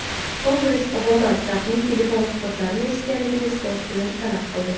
Kongress Obama Trampning telefon suhbatlarini eshitganligi isbotini talab qildi.